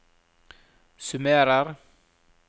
summerer